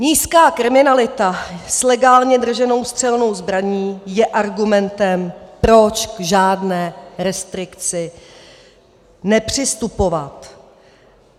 Nízká kriminalita s legálně drženou střelnou zbraní je argumentem, proč k žádné restrikci nepřistupovat.